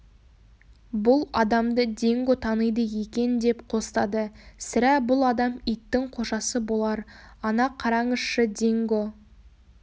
бұл адамды динго таниды екен деп қостады сірә бұл адам иттің қожасы болар ана қараңызшы динго